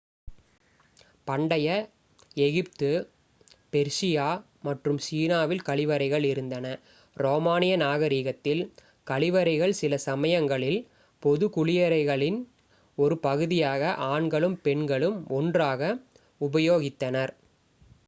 பண்டைய Egypt Persia மற்றும் சீனாவில் கழிவறைகள் இருந்தன ரோமானிய நாகரிகத்தில் கழிவறைகள் சில சமயங்களில் பொது குளியலறைகளின் ஒரு பகுதியாக ஆண்களும் பெண்களும் ஒன்றாக உபயோகித்தனர்